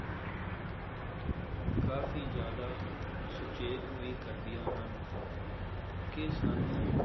ਕਾਫੀ ਜ਼ਿਆਦਾ ਸੁਚੇਤ ਵੀ ਕਰਦੀਆਂ ਹਨ ਕਿ ਸਾਨੂੰ